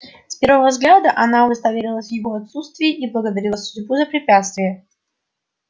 с первого взгляда она удостоверилась в его отсутствии и благодарила судьбу за препятствие